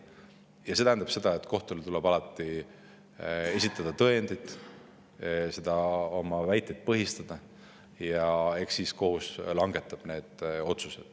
Ja see tähendab seda, et kohtule tuleb alati esitada tõendid, tuleb oma väiteid põhistada, ja eks siis kohus langetab otsused.